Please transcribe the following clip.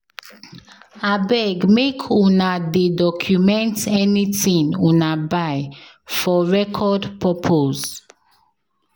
Abeg make una dey document anything una buy for record purpose